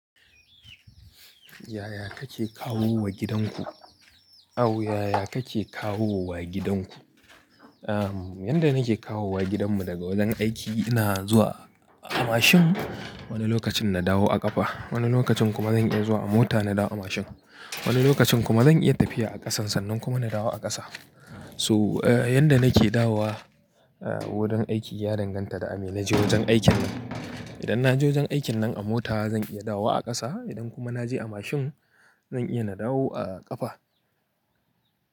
Yaya kake kawowa gidanku? Yaya kake kawowa gidanku? Yanda nake kawowa gidanmu daga wajen aiki ina zuwa a mashin. Wani lokacin na dawo a ƙafa. Wani lokacin kuma zan iya zuwa a mota na dawo a mashin. Wani lokacin kuma zan iya tafiya a ƙasan sannan kuma na dawo a ƙasa. So, yanda nake dawowa wurin aiki ya danganta da a me naje wajen aikin. Idan naje wajen aikin nan a mota zan iya dawowa a ƙasa. Idan kuma na je a mashin zan iya na dawo a ƙafa.